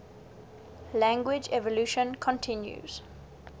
language evolution continues